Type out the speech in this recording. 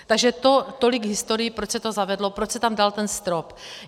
Takže tolik k historii, proč se to zavedlo, proč se tam dal ten strop.